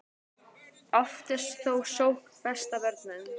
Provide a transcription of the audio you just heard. oft er þó sókn besta vörnin